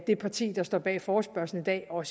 det parti der står bag forespørgslen i dag og